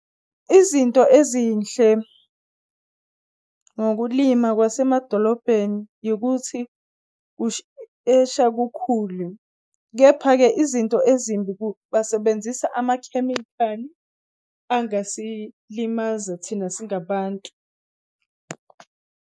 Izinto ezinhle ngokulima kwasemadolobheni yikuthi kushesha kukhulu, kepha-ke izinto ezimbi basebenzisa amakhemikhali angasilimaza thina singabantu.